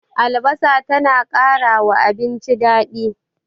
Albasa ta na ƙarawa abinci daɗi